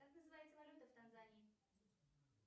как называется валюта в танзании